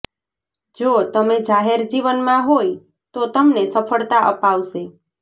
જો તમે જાહેર જીવનમાં હોય તો તમને સફળતા અપાવશે